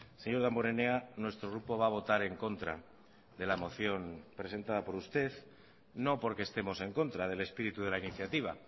señor damborenea nuestro grupo va a votar en contra de la moción presentada por usted no porque estemos en contra del espíritu de la iniciativa